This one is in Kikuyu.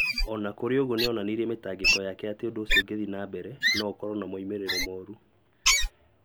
O na kũrĩ ũguo, nĩ onanirie mĩtangĩko yake atĩ ũndũ ũcio ũngĩthiĩ na mbere, no ũkorũo na moimĩrĩro moru.